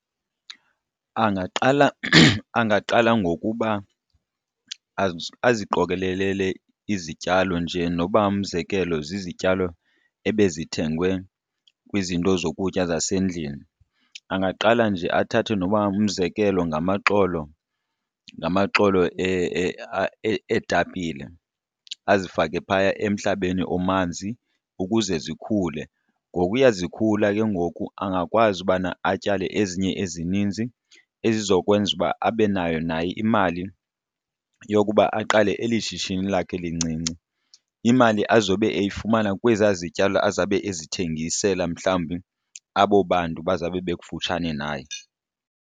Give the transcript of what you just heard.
Angaqala angaqala ngokuba aziqokelelele izityalo njee noba umzekelo zizityalo ebezithengwe kwizinto zokutya zasendlini. Angaqala nje athathe noba umzekelo ngamaxolo ngamaxolo eetapile azifake phaya emhlabeni omanzi ukuze zikhule. Ngokuya zikhula ke ngoku angakwazi ubana atyale ezinye ezininzi ezizokwenza uba abe nayo naye imali yokuba aqale eli shishini lakhe lincinci, imali azobe eyifumana kwezaa zityalo azabe ezithengisela mhlawumbi abo bantu bazawube bekufutshane naye.